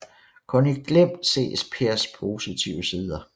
Kun i glimt ses Pers positive sider